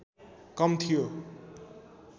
कम थियो